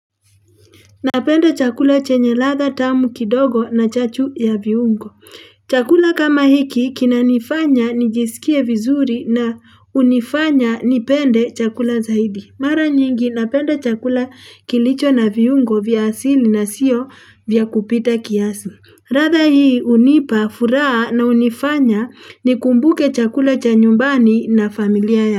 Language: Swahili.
Napenda chakula chenye ladha tamu kidogo, na chachu ya viungo. Chakula kama hiki, kinanifanya nijisikie vizuri na hunifanya nipende chakula zaidi. Mara nyingi, napenda chakula kilicho na viungo vya asili, na sio vya kupita kiasi. Radha hii hunipa furaha na hunifanya nikumbuke chakula cha nyumbani na familia ya.